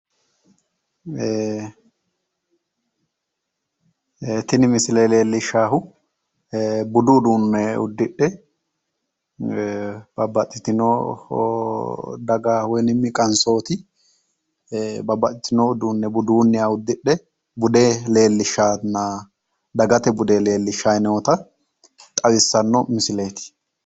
Tini misile leellishshaahu budu uduunne uddidhe babbaxxitino daga woyi qansooti babbaxxitino uduunne budunniha uddidhe bude leellishshanna dagate bude leellishshanna xawissanno misileeti.